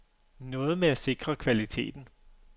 Noget med at sikre kvaliteten.